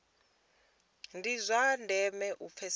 ndi zwa ndeme u pfesesa